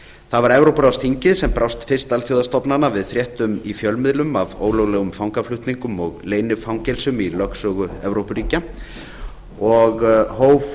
það var evrópuráðsþingið sem brást fyrst allra alþjóðastofnana við fréttum í fjölmiðlum af ólöglegum fangaflutningum og leynifangelsum í lögsögu evrópuríkja og hóf